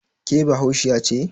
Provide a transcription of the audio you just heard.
ke Bahaushiya ce?